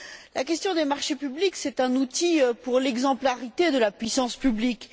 La question des marchés publics, c'est un outil pour l'exemplarité de la puissance publique.